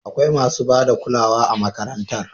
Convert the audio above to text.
Akwai masu ba da kulawa a makarantar.